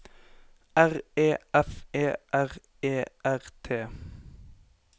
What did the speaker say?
R E F E R E R T